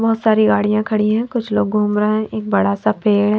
बहोत सारी गाड़ियां खड़ी है कुछ लोग घूम रहे है एक बड़ा सा पेड़--